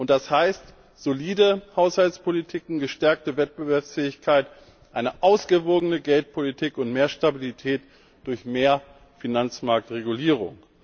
Und das heißt solide Haushaltspolitik, gestärkte Wettbewerbsfähigkeit, eine ausgewogene Geldpolitik und mehr Stabilität durch mehr Finanzmarktregulierung.